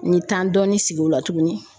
N ye dɔɔni sigi o la tuguni